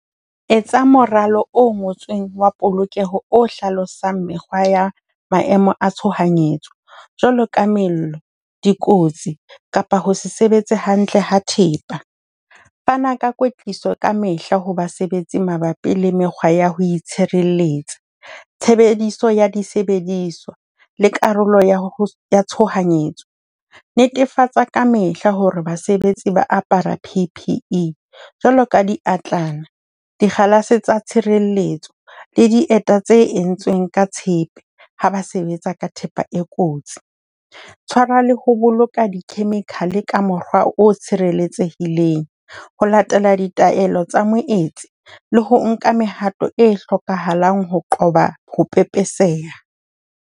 Etsa moralo o ngotsweng wa polokeho o hlalosang mekgwa ya maemo a tshohanyetso jwalo ka mello, dikotsi kapa ho se sebetse hantle ha thepa. Fana ka kwetliso ka mehla ho basebetsi mabapi le mekgwa ya ho itshireletsa, tshebediso ya disebediswa le karolo ya ho ya tshohanyetso. Netefatsa ka mehla ho re basebetsi ba apara P_P_E, jwalo ka diatlana, dikgalase tsa tshirelletso le dieta tse entsweng ka tshepe ha ba sebetsa ka thepa e kotsi. Tshwara le ho boloka dichemical ka mokgwa o tshireletsehileng ho latela ditaelo tsa moetsi le ho nka mehato e hlokahalang ho qoba ho pepeseha.